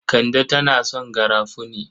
Kande tana son garafuni.